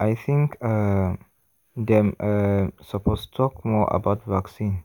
i think um dem um suppose talk more about vaccine